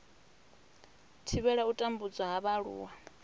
thivhela u tambudzwa ha vhaaluwa